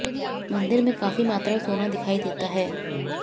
मंदिर में काफी मात्रा में सोना दिखाई देता है